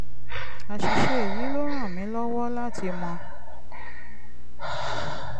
àṣìṣe yìí ló ràn mí lọ́wọ́ láti mọ